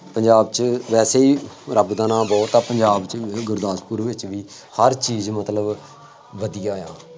ਪੰਜਾਬ ਚ ਵੈਸੇ ਹੀ ਰੱਬ ਦਾ ਨਾਂ ਬਹੁਤ ਆ, ਪੰਜਾਬ ਚ ਗੁਰਦਾਸਪੁਰ ਵਿੱਚ ਹਰ ਚੀਜ਼ ਮਤਲਬ ਵਧੀਆਂ ਆ